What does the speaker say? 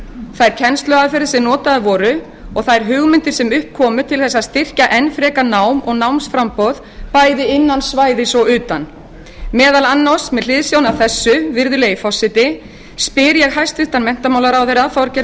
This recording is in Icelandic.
þær kennsluaðferðir sem notaðar voru og þær hugmyndir sem upp komu til þess að styrkja enn frekar nám og námsframboð bæði innan svæðis og utan meðal annars með hliðsjón af þessu virðulegi forseti spyr ég hæstvirtan menntamálaráðherra þorgerði